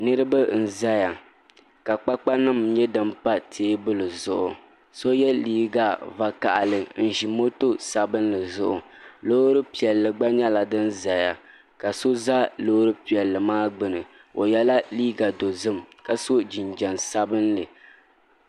Niraba n ʒɛya ka kpakpa nim nyɛ din pa teebuli zuɣu so yɛ liiga vakaɣali n ʒi moto sabinli zuɣu loori piɛlli gba nyɛla din ʒɛya ka so ʒɛ loori piɛlli maa gbuni o yɛla liiga dozim ka so jinjɛm sabinli